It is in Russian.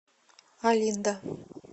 олинда